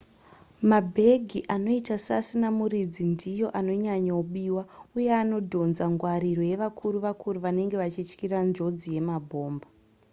mabhegi anoita seasina muridzi ndiyo anonyanyo biwa uye anodhonza ngwariro yevakuru-vakuru vanenge vachityira njodzi yemabhomba